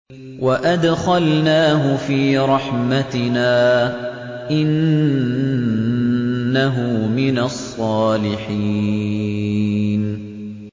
وَأَدْخَلْنَاهُ فِي رَحْمَتِنَا ۖ إِنَّهُ مِنَ الصَّالِحِينَ